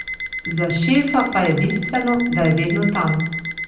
Za šefa pa je bistveno, da je vedno tam.